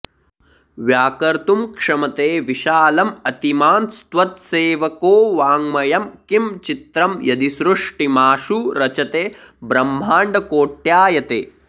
व्याकर्तुं क्षमते विशालमतिमांस्त्वत्सेवको वाङ्मयं किं चित्रं यदि सृष्टिमाशु रचते ब्रह्माण्डकोट्यायते